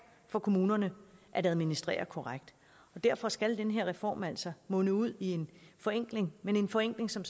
for kommunerne at administrere korrekt derfor skal den her reform altså munde ud i en forenkling men en forenkling som